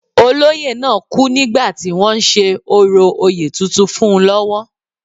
Olóyè náà kú nígbà tí wọ́n ń ṣe orò oyè tuntun fún un lọ́wọ́